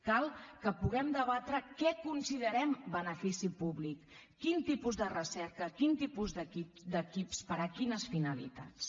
cal que puguem debatre què considerem benefici públic quin tipus de recerca quin tipus d’equips per a quines finalitats